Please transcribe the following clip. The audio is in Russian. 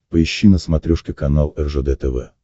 поищи на смотрешке канал ржд тв